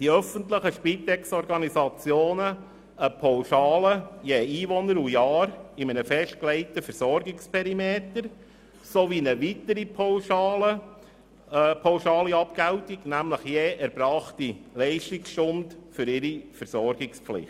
Die öffentlichen Spitexorganisationen erhalten darüber hinaus eine Pauschale pro Einwohner und Jahr in einem festgelegten Versorgungsperimeter sowie eine weitere pauschale Abgeltung, nämlich je erbrachte Leistungsstunde für ihre Versorgungspflicht.